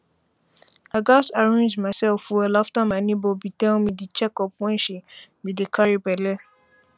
i gats arrange myself well after my neighbor be tell me the checkup wen she be dey carry belle